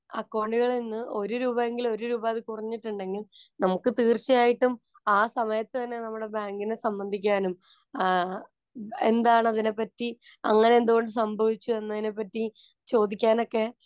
അക്കൌണ്ടുകളില്‍ നിന്നും ഒരു രൂപയെങ്കില്‍ ഒരു രൂപ അത് കുറഞ്ഞിട്ടുണ്ടെങ്കില്‍ നമുക്ക് തീര്‍ച്ചയായിട്ടും ആ സമയത്ത് തന്നെ നമ്മുടെ ബാങ്കിനെ സംബന്ധിക്കാനും, എന്താണതിനെ പറ്റി, അങ്ങനെ എന്തു കൊണ്ട് സംഭവിച്ചു എന്നതിനെപ്പറ്റി